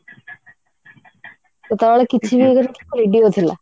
ସେତେବେଳେ କିଛି ବି radio ଥିଲା